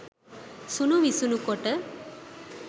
සුණු විසුණු කොට